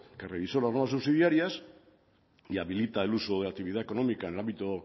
que revisó las normas subsidiarias y habilita el uso de la actividad económica en el ámbito